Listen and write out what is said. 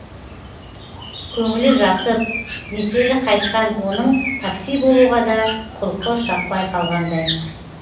көңілі жасып меселі қайтқан оның такси болуға да құлқы шаппай қалғандай